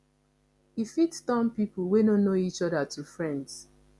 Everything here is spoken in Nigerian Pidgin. e fit turn pipo wey no know each oda to friends